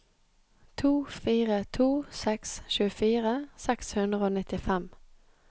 to fire to seks tjuefire seks hundre og nittifem